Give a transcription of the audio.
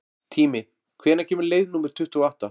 Tími, hvenær kemur leið númer tuttugu og átta?